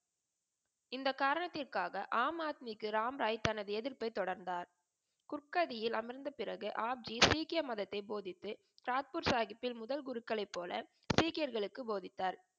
இந்த காரணத்திற்காக ஆம் அத்மிக்கு ராம் ராய் தனது எதிர்ப்பை தொடர்ந்தார். குட்கதியில் அமர்ந்த பிறகே ஹாப்ஜி சீக்கிய மதத்தை போதித்து தாட்பூர் சாஹிபில் முதல் குருக்களை போல சீக்கியர்களுக்கு போதித்தார்.